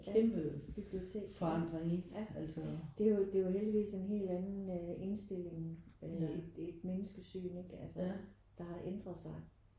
Ja bibliotek ja ja. Det er jo det er jo heldigvis en helt anden indstilling øh et menneskesyn ikke altså der har ændret sig